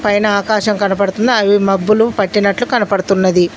పైన ఆకాశం కనబడుతుంది అవి మబ్బులు పట్టినట్లు కనపడుతున్నది.